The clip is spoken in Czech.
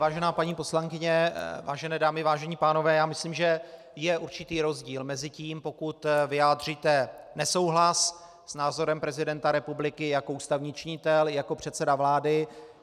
Vážená paní poslankyně, vážené dámy, vážení pánové, já myslím, že je určitý rozdíl mezi tím, pokud vyjádříte nesouhlas s názorem prezidenta republiky jako ústavní činitel, jako předseda vlády.